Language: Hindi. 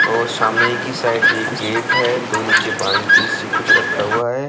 और सामने की साइड एक गेट है दो नीचे बाल्टी-सी कुछ रखा हुआ है।